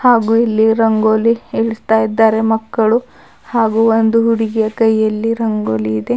ಹಾಗು ಇಲ್ಲಿ ರಂಗೋಲಿ ಇಡ್ತಾ ಇದ್ದಾರೆ ಮಕ್ಕಳು ಹಾಗು ಒಂದು ಹುಡುಗಿಯ ಕೈಯಲ್ಲಿ ರಂಗೋಲಿ ಇದೆ.